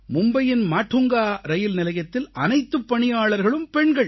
மும்பையின் மாடுங்கா ரயில்நிலையத்தில் அனைத்துப் பணியாளர்களும் பெண்கள்